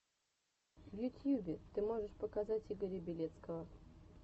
в ютьюбе ты можешь показать игоря белецкого